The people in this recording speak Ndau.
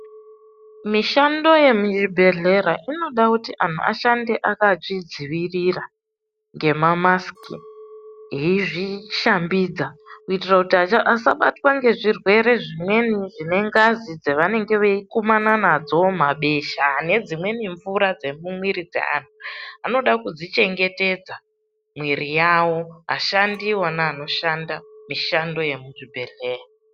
Mishando yemuzvibhedhlera inoda kuti anhu ashande akazvidzivirira ngema masiki, veizvishambidza kuitira kuti asabatwa nezvirwere zvimweni zvinengazi dzavanenge vaikumana nadzo, mabesha nedzimweni mvura dzemumwiri dzeanhu. Anoda kudzichengetedza mwiri yavo ashandi onawo anoshanda mishando yemuzvhibhedhlera.